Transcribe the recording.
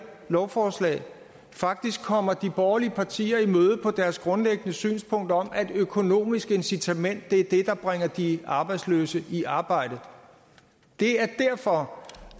lovforslag faktisk kommer de borgerlige partier i møde på deres grundlæggende synspunkt om at et økonomisk incitament er det der bringer de arbejdsløse i arbejde det er derfor